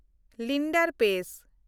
Leander ᱯᱮᱥ